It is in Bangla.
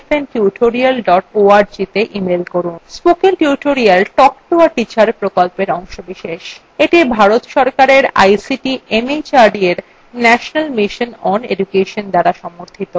spoken tutorial talk to a teacher প্রকল্পের অংশবিশেষ